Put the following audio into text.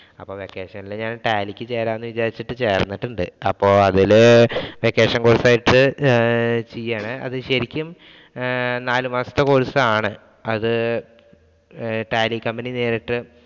Vacation ഒക്കെയല്ലേ ഞാൻ Tally ക്ക് ചേരാം എന്ന് വിചാരിച്ചിട്ട് ചേർന്നിട്ടുണ്ട്. അപ്പോ അതില് vacation course ആയിട്ട് ചെയ്യുകയാണ്. അത് ശരിക്കും ഏർ നാല് മാസത്തെ course ആണ്. അത് Tally company നേരിട്ട്